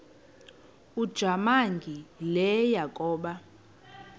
ujamangi le yakoba